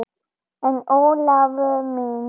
En Ólafur minn.